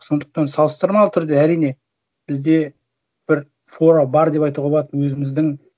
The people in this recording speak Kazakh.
сондықтан салыстырмалы түрде әрине бізде бір фора бар деп айтуға болады өзіміздің